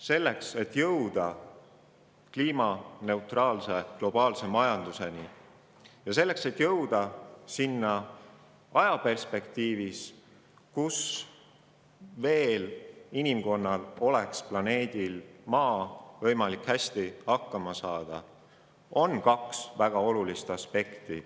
Selleks, et jõuda kliimaneutraalse globaalse majanduseni, ja jõuda sinna ajal, kui inimkonnal on planeedil Maa võimalik veel hästi hakkama saada, on kaks väga olulist aspekti.